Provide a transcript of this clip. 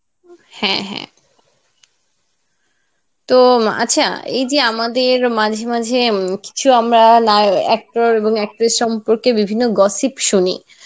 হ্যাঁ হ্যাঁ তো আচ্ছা এই যে আমাদের মাঝে মাঝে উম কিছু আমরা নায়~ actor এবং actress সম্পর্কে বিভিন্ন gossip শুনি